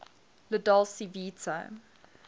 la dolce vita